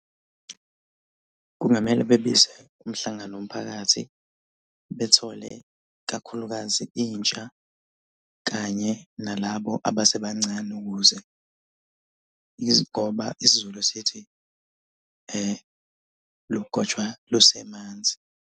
Kungamele bebize umhlangano womphakathi. Bethole kakhulukazi intsha kanye nalabo abasebancane ukuze izigoba, isiZulu sithi, lugotshwa luse manzi.